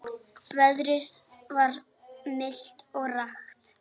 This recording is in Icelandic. Veðrið var milt og rakt.